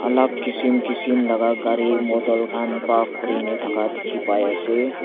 alag kisim kisim laga gari model khan park kori ne thaka dekhi pai ase.